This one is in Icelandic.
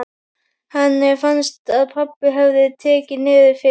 Henni fannst að pabbi hefði tekið niður fyrir sig.